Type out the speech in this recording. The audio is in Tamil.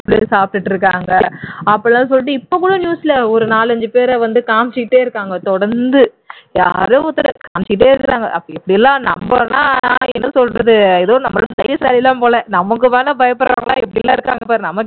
சாப்பிட்டுட்டு இருக்காங்க அப்படியெல்லாம் சொல்லிட்டு இப்ப கூட news ல ஒரு நாலஞ்சு பேர வந்துட்டு காமிச்சுகிட்டே இருக்காங்க தொடர்ந்து யாரோ ஒருத்தரை காமிச்சுக்கிட்டே இருக்காங்க அப்படி இப்படி எல்லாம் நாமெல்லாம் என்ன சொல்றது நம்ம தைரியசாலி தான் போல நமக்கு மேல பயப்படறவங்க எல்லாம் எப்படி எல்லாம் இருக்காங்க பார்